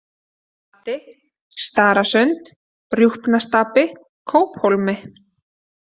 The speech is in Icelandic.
Flati, Stararsund, Rjúpnastapi, Kóphólmi